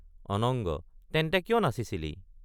অনঙ্গ—তেন্তে কিয় নাচিছিলি?